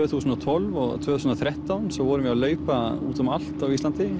þúsund og tólf og tvö þúsund og þrettán svo vorum við að leita út um allt á Íslandi